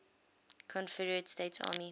confederate states army